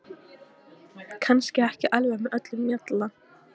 Kannski ekki alveg með öllum mjalla.